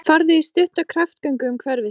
Farðu í stutta kraftgöngu um hverfið þitt.